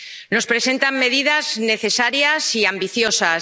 Nos presentan medidas necesarias y ambiciosas.